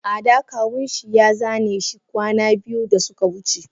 Ada kawun shi ya zaneshi kwana biyu da suka wuce.